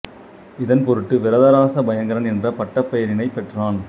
இதன் பொருட்டு விருதராச பயங்கரன் என்ற பட்ட பெயரினை பெற்றான்